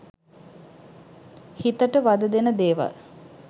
හිතට වදදෙන දේවල්